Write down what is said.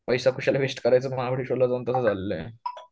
पैसा कशाला वेस्ट करायचा महाबळेश्वरला जाऊन तसं झालेलय